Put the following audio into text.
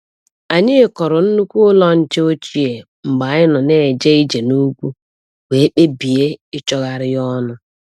Anyị kụrụ nnukwu ụlọ nche ochie mgbe anyị na-eje ije n'ugwu, wee kpebie ịchọgharị ya ọnụ.